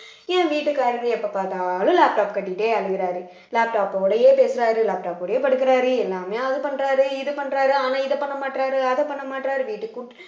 என் வீட்டுக்காரர்ரு எப்ப பார்த்தாலும் laptop கட்டிட்டே அழுகுறாரு laptop ஓடையே பேசுறாரு laptop ஓடயே படுக்குறாரு எல்லாமே அதை பண்றாரு இது பண்றாரு ஆனா இதை பண்ண மாட்றாரு அதை பண்ண மாற்றாரு வீட்டுக்கு